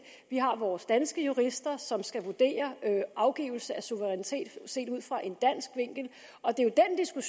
vi har vores danske jurister som skal vurdere afgivelse af suverænitet set ud fra en dansk vinkel og det er